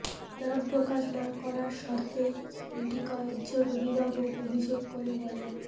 নাম প্রকাশ না করার শর্তে স্কুলটি কয়েকজন অভিভাবক অভিযোগ করে বলেন